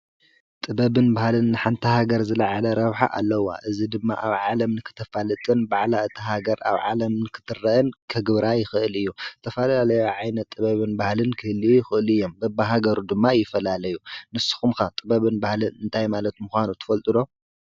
ጥበብን ባህልን ንሓንቲ ሃገር ዝለዓለ ረብሓ ኣለዋ፡፡ እዚ ድማ ኣብ ዓለም ንክተፋልጥን ባዕላ እታ ሃገር ኣብ ዓለም ንክትረአን ከግብራ ይክእል እዩ፡፡ ዝተፈላለዩ ዓይነት ጥበብን ባህልን ክህልዩ ይክእሉ እዮም፡፡ በቢሃገሩ ድማ ይፈላለዩ ንስኩም ከ ጥበብን ባህልን እንታይ ማለት ምካኑ ትፈልጡ ዶ?